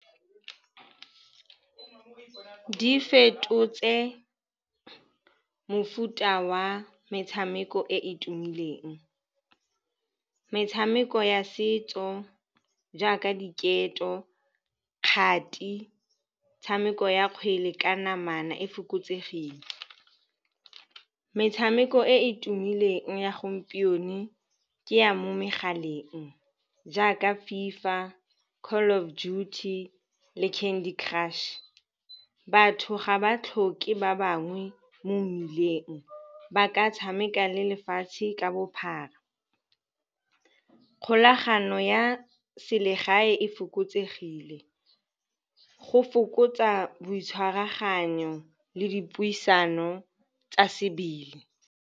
Di fetotse mofuta wa metshameko e e tumileng. Metshameko ya setso jaaka diketo, kgati, metshameko ya kgwele ka namana e fokotsegileng. Metshameko e e tumileng ya gompieno ke ya mo megaleng jaaka FIFA, Call of Duty le Candy Crush. Batho ga ba tlhoke ba bangwe mo mmileng ba ka tshameka le lefatshe ka bophara. Kgolagano ya selegae e fokotsegile, go fokotsa boitshwaraganyo le dipuisano tsa sebele.